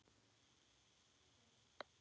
Húsin mynda því eina heild.